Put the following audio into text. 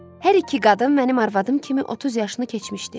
Hər iki qadın mənim arvadım kimi 30 yaşını keçmişdi.